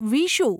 Vishu